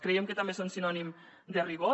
creiem que també són sinònim de rigor